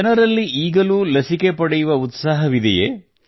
ಜನರಲ್ಲಿ ಈಗಲೂ ಲಸಿಕೆ ಪಡೆಯುವ ಉತ್ಸಾಹವಿದೆಯೇ